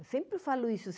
Eu sempre falo isso.